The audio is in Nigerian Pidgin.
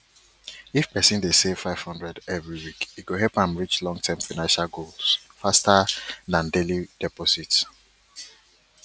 if person dey save five hundred every week e go help am reach long term financial goals faster than daily deposits